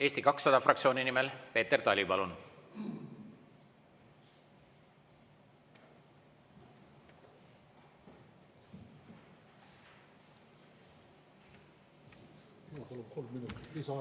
Eesti 200 fraktsiooni nimel Peeter Tali, palun!